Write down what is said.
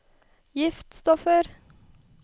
giftstoffer